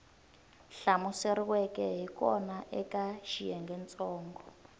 hlamuseriweke hi kona eka xiyengentsongo